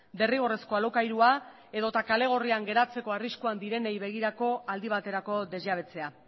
derrigorrezko alokairua edo eta kale gorrian geratzeko arriskuan direnei begirako aldi baterako desjabetzea